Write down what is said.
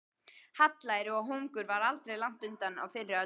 Hallæri og hungur var aldrei langt undan á fyrri öldum.